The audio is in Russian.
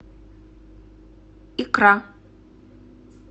икра